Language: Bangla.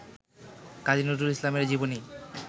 কাজী নজরুল ইসলামের জীবনী